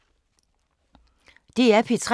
DR P3